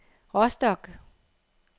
Rostock